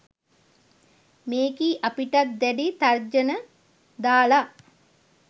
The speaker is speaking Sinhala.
මේකි අපිටත් දැඩි තර්ජන දාලා